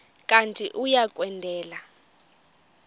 kanti uia kwendela